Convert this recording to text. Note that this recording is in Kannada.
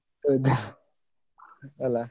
ಹೌದು .